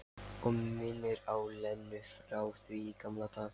Og minnir á Lenu frá því í gamla daga.